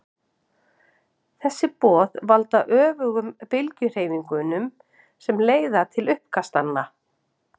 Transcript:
þessi boð valda öfugum bylgjuhreyfingunum sem leiða til uppkastanna